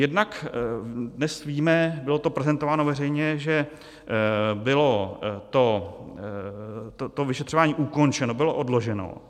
Jednak dnes víme, bylo to prezentováno veřejně, že bylo to vyšetřování ukončeno, bylo odloženo.